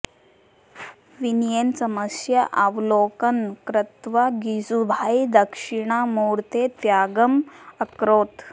विनयेन समयस्य अवलोकनं कृत्वा गिजुभाई दक्षिणामूर्तेः त्यागम् अकरोत्